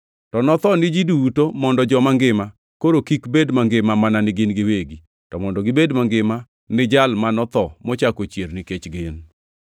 To notho ni ji duto mondo joma ngima koro kik bed mangima mana ni gin giwegi, to mondo gibed mangima ni Jal ma notho mochako ochier nikech gin.